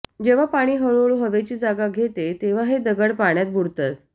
जेव्हा पाणी हळूहळू हवेची जागा घेत तेव्हा हे दगड पाण्यात बुडतात